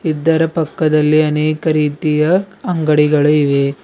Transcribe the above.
ಇದರ ಪಕ್ಕದಲ್ಲಿ ಅನೇಕ ರೀತಿಯ ಅಂಗಡಿಗಳು ಇವೆ.